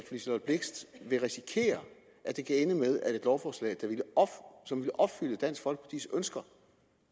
liselott blixt vil risikere at det kan ende med at et lovforslag der ville opfylde dansk folkepartis ønsker